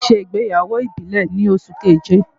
Màá ṣe ìgbéyàwó ìbílẹ̀ ni oṣù keje.